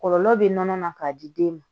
Kɔlɔlɔ bɛ nɔnɔ na k'a di den ma